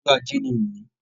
Ọjọ́ ajé ni òní